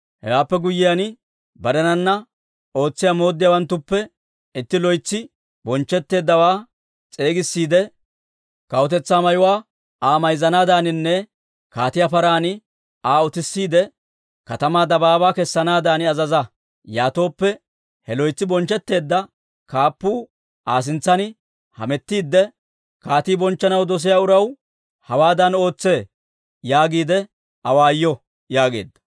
Hewaappe guyyiyaan, barenana ootsiyaa mooddiyaawanttuppe itti loytsi bonchchetteeddawaa s'eegissiide, kawutetsaa mayuwaa Aa mayzzanaadaaninne kaatiyaa paran Aa utissiide, katamaa dabaabaa kessanaadan azaza. Yaatooppe he loytsi bonchchetteedda kaappuu Aa sintsan hamettiidde, ‹Kaatii bonchchanaw dosiyaa uraw hawaadan ootsee› yaagiide awaayo» yaageedda.